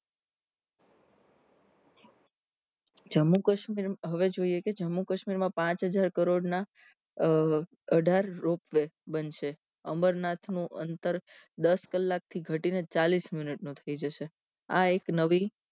જમ્મુકશ્મીર હવે જોઈએ કે જમ્મુકશ્મીર માં પાંચ હજાર કરોડ ના અઢાર રોપવે બનશે અમરનાથ નું અંતર દસ કલાક થી ધટીને ચાલીશ મિનીટનું થઇ જશે આ એક નવી